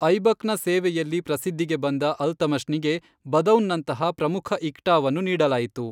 ಐಬಕ್ನ ಸೇವೆಯಲ್ಲಿ ಪ್ರಸಿದ್ಧಿಗೆ ಬಂದ ಅಲ್ತಮಷ್ನಿಗೆ ಬದೌನ್ನಂತಹ ಪ್ರಮುಖ ಇಕ್ಟಾವನ್ನು ನೀಡಲಾಯಿತು.